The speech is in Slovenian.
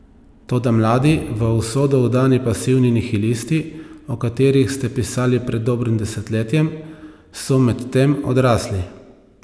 Toda mladi, v usodo vdani pasivni nihilisti, o katerih ste pisali pred dobrim desetletjem, so medtem odrasli.